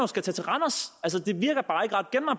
skal tage til randers